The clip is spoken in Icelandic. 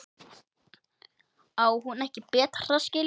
Á hún ekki betra skilið?